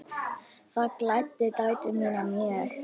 Það gladdi dætur mínar mjög.